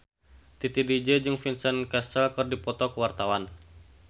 Titi DJ jeung Vincent Cassel keur dipoto ku wartawan